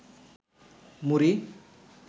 মুড়ি